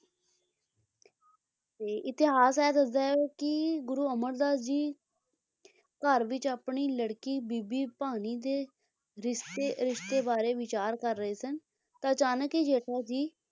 ਤੇ ਇਤਿਹਾਸ ਐ ਦੱਸਦਾ ਏ ਕੀ ਗੁਰੂ ਅਮਰਦਾਸ ਜੀ ਘਰ ਵਿੱਚ ਆਪਣੀ ਲੜਕੀ ਬੀਬੀ ਭਾਨੀ ਦੇ ਰਿਸ਼ਤੇ ਰਿਸ਼ਤੇ ਬਾਰੇ ਵਿਚਾਰ ਕਰ ਰਹੇ ਸਨ ਤਾਂ ਅਚਾਨਕ ਹੀ ਜੇਠਾ ਜੀ